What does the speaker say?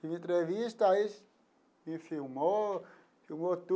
Tive entrevista, aí me filmou, filmou